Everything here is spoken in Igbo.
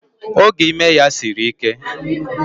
Oge ime ya siri ike